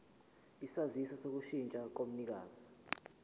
isaziso sokushintsha komnikazi